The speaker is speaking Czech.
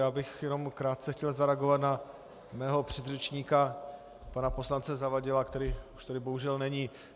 Já bych jenom krátce chtěl zareagovat na svého předřečníka pana poslance Zavadila, který už tady bohužel není.